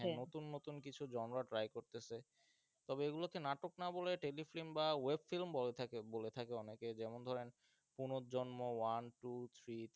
নতুন নতুন কিছু genre try করতেসে তবে এগুলোকে নাটক না বলে tele film বা web film বলা থাকে বলে থাকে অনেকে যেমন ধরেন পুনর্জন্ম one two three